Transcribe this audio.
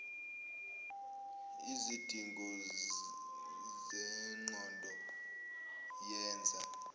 lzidingo zengqondo yenza